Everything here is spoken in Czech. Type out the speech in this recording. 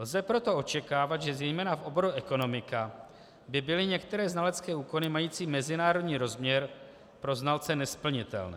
Lze proto očekávat, že zejména v oboru ekonomika by byly některé znalecké úkony mající mezinárodní rozměr pro znalce nesplnitelné.